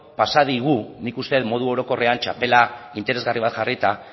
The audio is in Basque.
pasa digu nik uste dut modu orokorrean txapela interesgarri bat jarrita